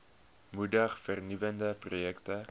moedig vernuwende projekte